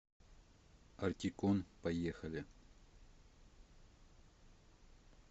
ортикон поехали